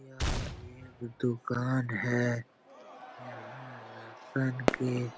यह एक दुकान है यहाँ राशन के --